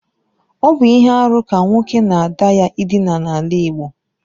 Ọ bụ ihe arụ ka nwoke na ada ya ịdina n’ala Igbo